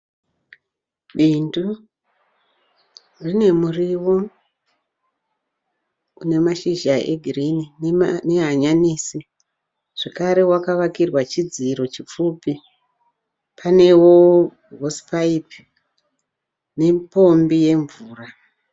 Bindu rine muriwo une mashizha egirini nehanyanisi zvekare wakavakirwa chidziro chipfupi. Panewo " horsepipe" nepombi yemvura .